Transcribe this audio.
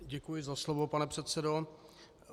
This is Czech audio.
Děkuji za slovo pane předsedo.